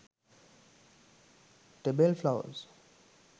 tebel flowers